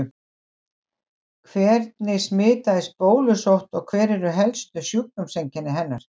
Hvernig smitast bólusótt og hver eru helstu sjúkdómseinkenni hennar?